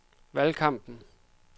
valgkampen